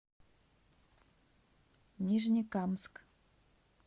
нижнекамск